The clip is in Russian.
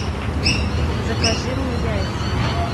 закажи мне яйца